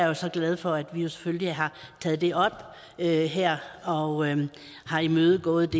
jo så glad for at vi selvfølgelig har taget det op her her og og har imødekommet